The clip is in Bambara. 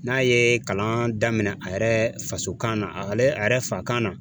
N'a ye kalan daminɛ, a yɛrɛ faso kan na a yɛrɛ fa kan na.